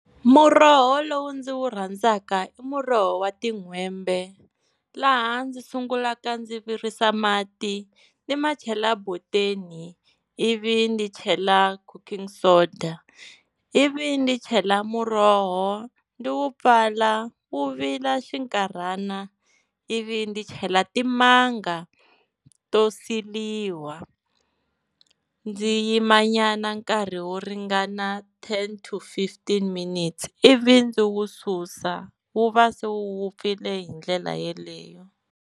Muroho lowu ndzi wu rhandzaka i muroho wa tin'hwembe, laha ndzi sungulaka ndzi virisa mati ni ma chela boteni ivi ni chela cooking soda, ivi ni chela muroho ndzi wu pfala wu vila xinkarhana, ivi ndzi chela timanga to siliwa. Ndzi yima nyana nkarhi wo ringana ten to fifteen minutes, ivi ndzi wu susa wu va se wu vupfile hi ndlela yeleyo.